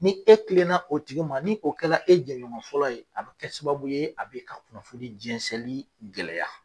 Ni e kilenna o tigi o ma ni oo kɛla e jɛɲɔgɔn fɔlɔ ye a bɛ kɛ sababu ye a bɛ ka kunnafoni jɛnsɛnli gɛlɛya.